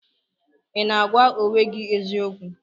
Ị na-agwa onwe gị eziokwu?